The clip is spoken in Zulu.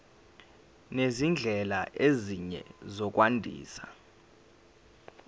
nezindlela ezinye zokwandisa